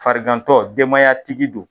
Farigantɔ denbaya tigi don.